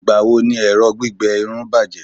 igbawo ni ẹrọ gbígbẹ Irun bajẹ